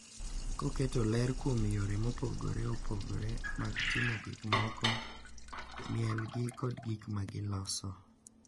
Koketo ler kuom yore mopogore opogore mag timo gik moko, mielgi, kod gik ma giloso.